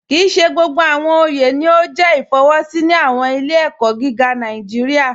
Kíì ṣè gbogbo awọn ọyẹ ni o jẹ ifọwọsi ni awọn ilẹ̀-ẹ̀kọ gígà Nàìjíríà.